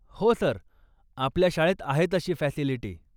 हो सर, आपल्या शाळेत आहे तशी फॅसिलिटी.